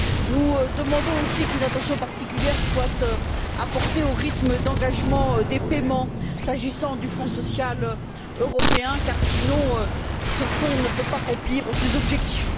Nous demandons aussi qu'une attention particulière soit portée au rythme d'engagement des paiements s'agissant du Fonds social européen car sinon ce dernier ne peut pas remplir ses objectifs.